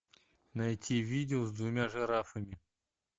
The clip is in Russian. найти видео с двумя жирафами